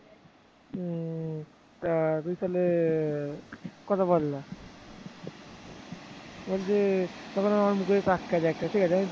বলছে তখন আমার মুখের দিকে তাকিয়ে আছে।